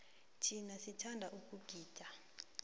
thina sithanda ukugida